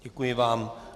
Děkuji vám.